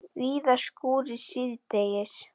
Víða skúrir síðdegis